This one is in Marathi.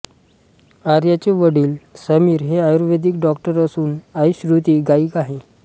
आर्याचे वडील समीर हे आयुर्वेदिक डॉक्टर असून आई श्रुती गायिका आहे